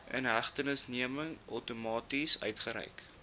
inhegtenisneming outomaties uitgereik